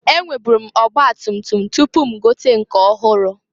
E nweburu m ọgbatutum tupu m gote nke ọhụrụ.